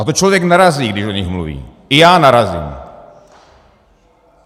A to člověk narazí, když o nich mluví, i já narazím.